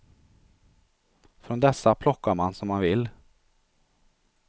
Från dessa plockar man som man vill.